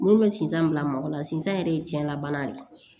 Minnu bɛ sinsan bila mɔgɔ la sisan yɛrɛ ye tiɲɛnna bana de ye